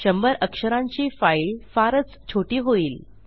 शंभर अक्षरांची फाईल फारच छोटी होईल